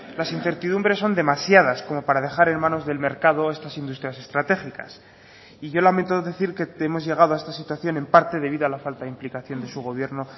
las incertidumbres son demasiadas como para dejar en manos del mercado estas industrias estratégicas yo lamento decir que hemos llegado a esta situación en parte debido a la falta de implicación de su gobierno